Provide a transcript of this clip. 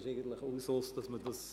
Dies ist der Usus.